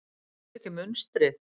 Sérðu ekki munstrið?